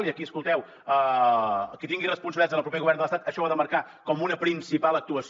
i aquí escolteu qui tingui responsabilitats en el proper govern de l’estat això ho ha de marcar com una principal actuació